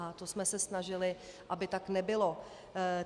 A to jsme se snažili, aby tak nebylo.